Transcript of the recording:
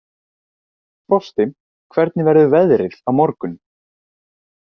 Frosti, hvernig verður veðrið á morgun?